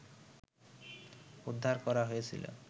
উদ্ধার করা হয়েছিল